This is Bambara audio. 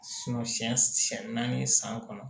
si siɲɛ naani san kɔnɔ